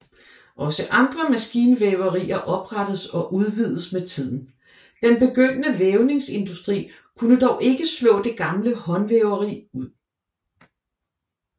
Også andre maskinvæverier oprettedes og udvidedes med tiden Den begyndende vævningsindustri kunne dog ikke slå det gamle håndvæveri ud